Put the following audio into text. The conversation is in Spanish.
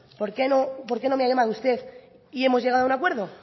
por qué no me ha llamado usted y hemos llegado a un acuerdo